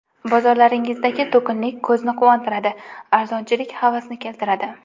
Bozorlaringizdagi to‘kinlik ko‘zni quvontiradi, arzonchilik havasni keltiradi.